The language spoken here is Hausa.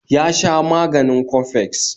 ya sha maganin coffex